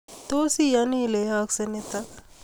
Tos iyani ile yaaksei nitok